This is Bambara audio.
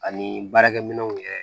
Ani baarakɛ minɛnw yɛrɛ